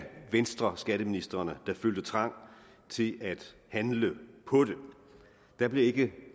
venstreskatteministrene der følte trang til at handle på det der blev ikke